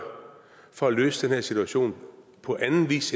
for at løse den her situation på anden vis